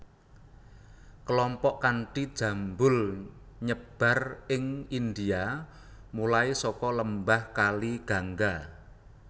Kelompok kanti jambulNyebar ing India mulai saka lembah kali Gangga